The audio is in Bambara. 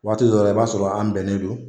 Waati dɔw la i b'a sɔrɔ an bɛnnen don.